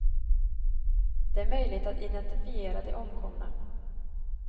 Det är möjligt att identifiera de omkomna.